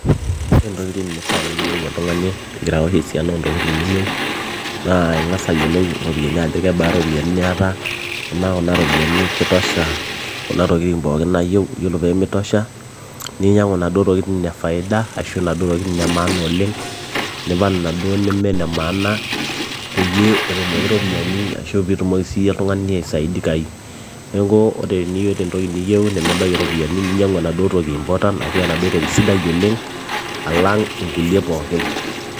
ore intokitin nifaa niyiolou oltung'ani ingira awosh esiana oontokitin niyieu naa ing'as ayiolou iropiyiani ajo kebaa iropiyiani niata amaa kuna ropiyiani kitosha kuna tokitin pookin nayieu yiolo peemitosha ninyiang'u inaduo tokitin e faida ashu inaduo tokitin e maana oleng nipal inaduo neme ine maana peyie etumoki iropiyiani ashu piitumoki siiyie oltung'ani aisaidikai neeku ore teniyieu entoki niyieu nemebaiki iropiyiani ninyiang'u enaduo toki important ashu enaduo toki sidai oleng alang inkulie pookin.